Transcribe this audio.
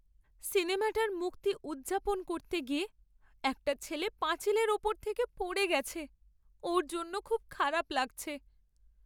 সিনেমাটার মুক্তি উদ্‌যাপন করতে গিয়ে একটা ছেলে পাঁচিলের ওপর থেকে পড়ে গেছে। ওর জন্য খুব খারাপ লাগছে।